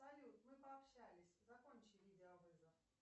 салют мы пообщались закончи видеовызов